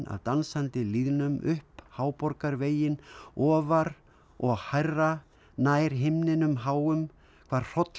dansandi lýðnum upp ofar og hærra nær himninum háum hvar